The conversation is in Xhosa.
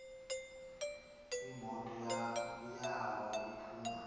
imoto yawo iphuma